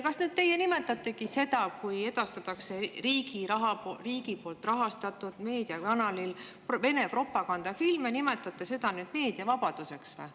Kas teie nimetategi seda, kui edastatakse riigi poolt rahastatud meediakanalil Vene propagandafilme, nüüd meediavabaduseks?